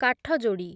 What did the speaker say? କାଠଯୋଡି଼